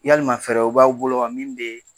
Yalima fɛɛrɛw b'aw bolo wa min bɛ